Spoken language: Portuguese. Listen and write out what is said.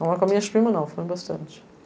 Não é com as minhas primas não, foi bastante.